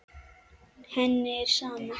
Henni er sama.